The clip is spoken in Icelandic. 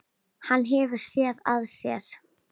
Hann hefur SÉÐ AÐ SÉR.